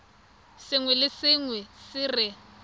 sengwe le sengwe se re